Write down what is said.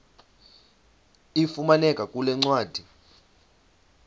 ifumaneka kule ncwadi